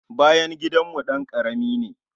Bayan gidanmu ɗan karami ne.